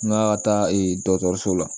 N ka taa dɔgɔtɔrɔso la